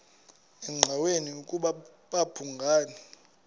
engqanweni ukuba babhungani